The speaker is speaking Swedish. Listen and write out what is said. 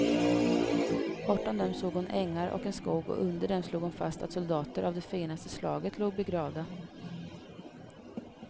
Bortom dem såg hon ängar och en skog, och under dem slog hon fast att soldater av det finaste slaget låg begravda.